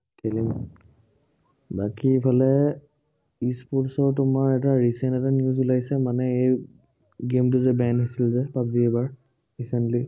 খেলিম বাকী এইফালে e-sports ৰ তোমাৰ এটা recent এটা news উলাইছে, মানে এই game টো banned হৈছিলে যে, পাৱজি এইবাৰ recently